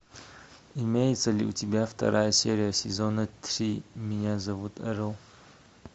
имеется ли у тебя вторая серия сезона три меня зовут эрл